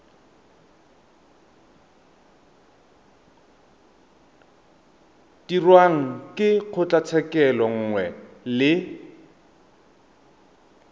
dirwang ke kgotlatshekelo nngwe le